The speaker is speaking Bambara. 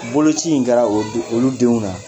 Boloci in jra o olu denw na